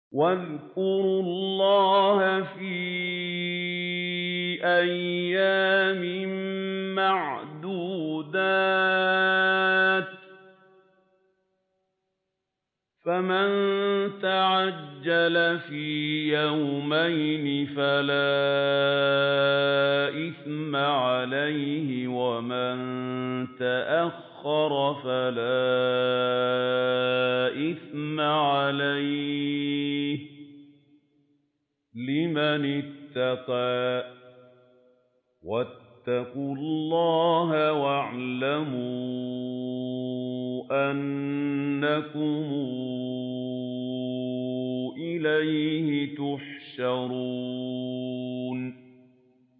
۞ وَاذْكُرُوا اللَّهَ فِي أَيَّامٍ مَّعْدُودَاتٍ ۚ فَمَن تَعَجَّلَ فِي يَوْمَيْنِ فَلَا إِثْمَ عَلَيْهِ وَمَن تَأَخَّرَ فَلَا إِثْمَ عَلَيْهِ ۚ لِمَنِ اتَّقَىٰ ۗ وَاتَّقُوا اللَّهَ وَاعْلَمُوا أَنَّكُمْ إِلَيْهِ تُحْشَرُونَ